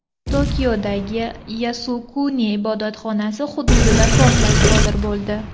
Tokiodagi Yasukuni ibodatxonasi hududida portlash sodir bo‘ldi.